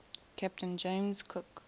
captain james cook